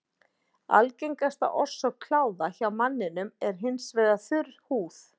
Algengasta orsök kláða hjá manninum er hins vegar þurr húð.